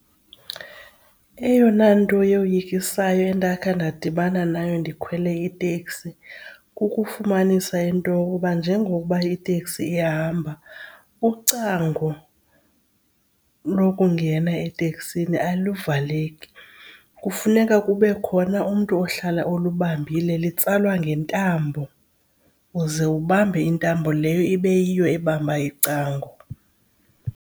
Eyona nto yoyikisayo endakhe ndadibana nayo ndikhwele iteksi kukufumanisa into yokuba njengokuba iteksi ihamba ucango lokungena eteksini alivaleki. Kufuneka kube khona umntu ohlala olubambile, litsalwa ngentambo, uze ubambe intambo leyo ibe yiyo ebamba icango.